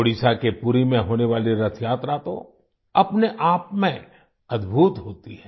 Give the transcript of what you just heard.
ओडिशा के पुरी में होने वाली रथयात्रा तो अपने आपमें अद्भुत होती है